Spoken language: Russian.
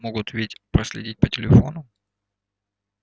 могут ведь проследить по телефону